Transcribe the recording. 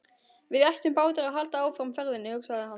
Við ættum báðir að halda áfram ferðinni, hugsaði hann.